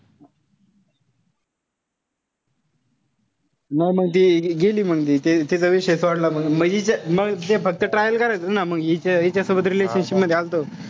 नाई मग ती गेली मंग ती तिथं विषय सोडला मंग. म ते फक्त trial करायचा ना. हिच्यासोबत relationship मध्ये आल्तो.